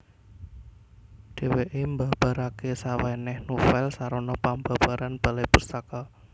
Dhèwèké mbabaraké sawènèh novèl sarana pambabaran Balai Pustaka